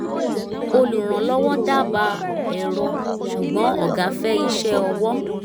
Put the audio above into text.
olùrànlọ́wọ́ dábàá ẹ̀rọ ṣùgbọ́n ọ̀gá fẹ́ iṣẹ́ ọwọ́